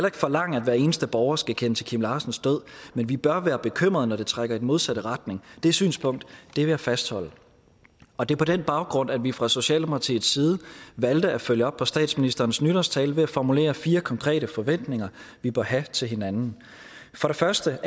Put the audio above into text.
ikke forlange at hver eneste borger skal kende til kim larsens død men vi bør være bekymrede når det trækker i den modsatte retning det synspunkt vil jeg fastholde og det er på den baggrund at vi fra socialdemokratiets side valgte at følge op på statsministerens nytårstale ved at formulere fire konkrete forventninger vi bør have til hinanden for det første